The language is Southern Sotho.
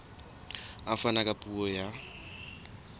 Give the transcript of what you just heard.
a fana ka puo ya